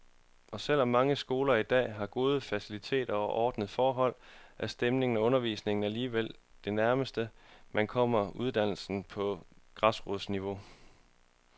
Og selv om mange skoler i dag har gode faciliteter og ordnede forhold, er stemningen og undervisningen alligevel det nærmeste, man kommer uddannelse på græsrodsniveau.